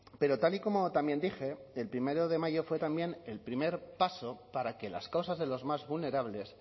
pero tal y como también dije el primero de mayo fue también el primer paso para que las causas de los más vulnerables